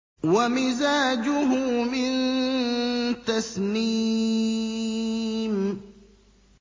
وَمِزَاجُهُ مِن تَسْنِيمٍ